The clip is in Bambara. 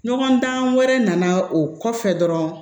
Ɲɔgɔn dan wɛrɛ nana o kɔfɛ dɔrɔn